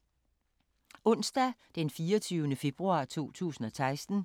Onsdag d. 24. februar 2016